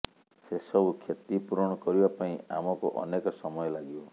ସେସବୁ କ୍ଷତି ପୂରଣ କରିବା ପାଇଁ ଆମକୁ ଅନେକ ସମୟ ଲାଗିବ